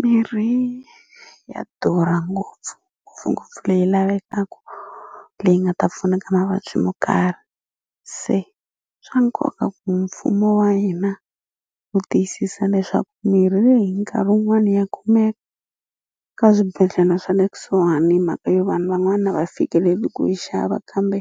Mirhi ya durha ngopfu leyi lavekaku leyi nga ta pfuna ka mavabyi mo karhi se swa nkoka ku mfumo wa hina wu tiyisisa leswaku mirhi leyi nkarhi wun'wani ya kumeka ka swibedhlele swa le kusuhani hi mhaka yo vanhu van'wana a va fikeleli ku yi xava kambe